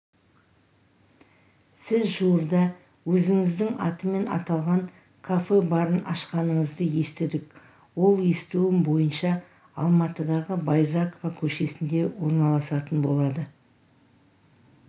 сіз жуырда өзіңіздің атымен аталған кафе-барын ашқаныңызды естідік ол естуім бойынша алматыдағы байзақова көшесінде орналасатын болады